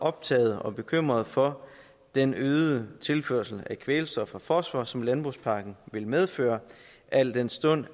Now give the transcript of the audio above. optaget af og bekymret for den øgede tilførsel af kvælstof og fosfor som landbrugspakken vil medføre al den stund